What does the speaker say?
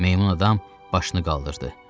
Meymun adam başını qaldırdı.